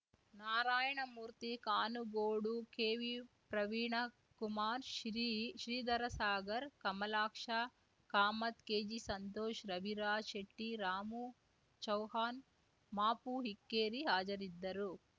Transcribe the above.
ನಾರಾಯಣಮೂರ್ತಿ ಕಾನುಗೋಡು ಕೆವಿಪ್ರವೀಣ ಕುಮಾರ್‌ ಶ್ರೀ ಶ್ರೀಧರಸಾಗರ್‌ ಕಮಲಾಕ್ಷ ಕಾಮತ್‌ ಕೆಜಿಸಂತೋಷ್‌ ರವಿರಾಜ್‌ ಶೆಟ್ಟಿ ರಾಮು ಚೌಹಾನ್‌ ಮಾಪು ಇಕ್ಕೇರಿ ಹಾಜರಿದ್ದರು